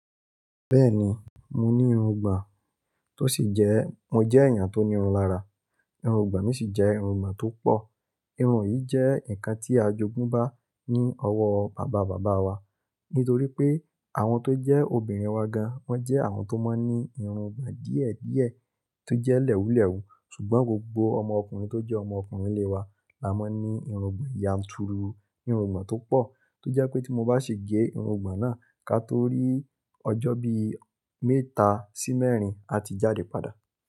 Bẹ́ẹ̀ni, mo ní irun igbòn tó sì jẹ́, mo jẹ́ èèyàn tó ní irun lára. Irun igbòn mi sì jẹ́ irun igbòn tó pọ̀. Irun yìí jẹ́ ǹkan tí a jogún bá ní ọwọ́ bàbá bàbá wa. Nítorí pé àwọn tó jẹ́ obìnrin wa gan, wọ́n jẹ́ àwọn tó máa ń ní irun igbòn díẹ̀ díẹ̀ tó jẹ́ lẹ́wùlẹ́wù. Ṣùgbọ́n gbogbo ọmọ ọkùnrin tó jẹ́ ọmọ ọkùnrin ilé wa la máa ń ní irun igbòn yanturu, irun igbòn tó pọ̀ tó jẹ́ pé tí mo bá ṣe gé irun igbòn náà ká tó rí ọjọ́ bí mẹ́ta sí mẹ́rin, a ti jáde padà.